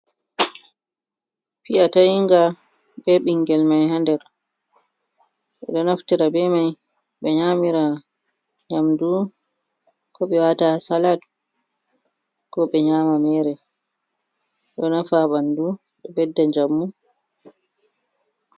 Fi'ya tayinga be ɓingel mai ha nder ɓeɗo naftira be mai ɓe nyamira nyamdu, koɓe wata ha salat ko ɓe nyama mere ɗo nafa ha ɓandu, ɗo ɓedda njamu.